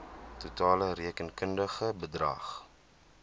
totale rekenkundige bedrag